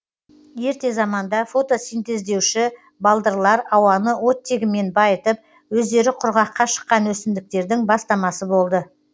ерте заманда фотосинтездеуші балдырлар ауаны оттегімен байытып өздері құрғаққа шыққан өсімдіктердің бастамасы болды